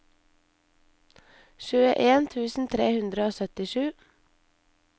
tjueen tusen tre hundre og syttisju